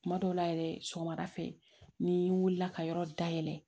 Kuma dɔw la yɛrɛ sɔgɔmada fɛ ni wulila ka yɔrɔ dayɛlɛ